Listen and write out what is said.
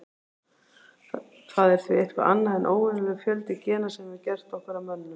Það er því eitthvað annað en óvenjulegur fjöldi gena sem hefur gert okkur að mönnum.